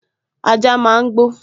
Ajá máa n gbó